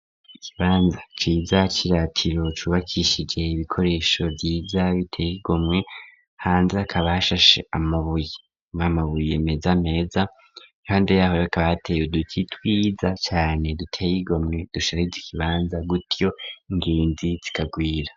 Ikibanza ciza c'iratiro cubakishije ibikoresho vyiza biteye igomwe, hanze hakaba hashashe amabuye n'amabuye meza meza, iruhande yaho hakaba hateye uduti twiza cane duteye igomwe dusharije kibanza gutyo ingenzi zikagwira.